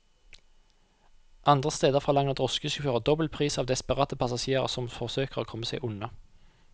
Andre steder forlanger drosjesjåfører dobbel pris av desperate passasjerer som forsøker å komme seg unna.